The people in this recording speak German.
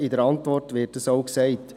Das wird auch in der Antwort gesagt.